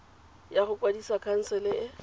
ya go kwadisa khansele e